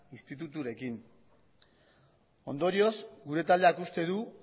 instituturekin ondorioz gure taldeak uste du